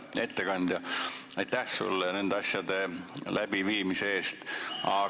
Hea ettekandja, aitäh sulle nende asjade läbiviimise eest!